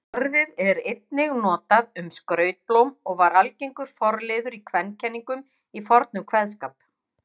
Þeir gera þetta með því að koma að hluta í stað prótína á yfirborði loftbólanna.